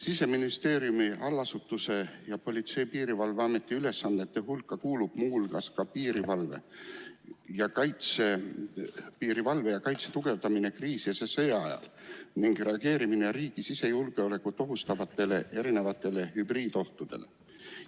Siseministeeriumi allasutuse, Politsei‑ ja Piirivalveameti ülesannete hulka kuulub muu hulgas piirivalve ja kaitse tugevdamine kriisi- ja sõjaajal ning reageerimine riigi sisejulgeolekut ohustavatele hübriidohtudele.